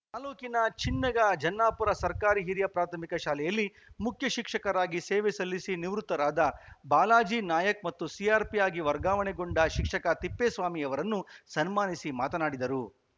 ತಾಲೂಕಿನ ಚಿನ್ನಿಗಜನ್ನಾಪುರ ಸರ್ಕಾರಿ ಹಿರಿಯ ಪ್ರಾಥಮಿಕ ಶಾಲೆಯಲ್ಲಿ ಮುಖ್ಯ ಶಿಕ್ಷಕರಾಗಿ ಸೇವೆ ಸಲ್ಲಿಸಿ ನಿವೃತ್ತರಾದ ಬಾಲಾಜಿ ನಾಯಕ್‌ ಮತ್ತು ಸಿಆರ್‌ಪಿ ಆಗಿ ವರ್ಗಾವಣೆಗೊಂಡ ಶಿಕ್ಷಕ ತಿಪ್ಪೇಸ್ವಾಮಿರನ್ನು ಸನ್ಮಾನಿಸಿ ಮಾತನಾಡಿದರು